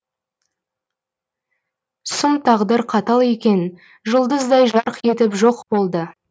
сұм тағдыр қатал екен жұлдыздай жарқ етіп жоқ болды